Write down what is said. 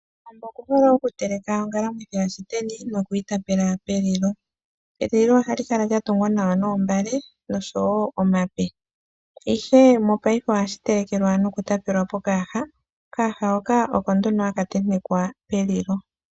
Kowambo okuhole okutelekwa ongalamwithi yashiteni nokuyi tapela pelilo. Elilo ohali kala latungwa nawa noombale nosho woo nomapi ihe mopaife ohashi telekelwa nokutapelwa pokayaha. Okayaha hoka oko nduno haka tentekwa pelilo.